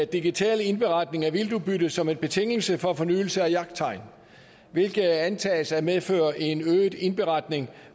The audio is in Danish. digital indberetning af vildtudbyttet som en betingelse for fornyelse af jagttegn hvilket antages at medføre en øget indberetning